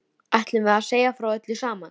Ætlunin var að segja frá öllu saman.